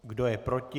Kdo je proti?